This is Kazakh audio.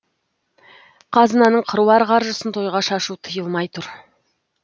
қазынаның қыруар қаржысын тойға шашу тыйылмай тұр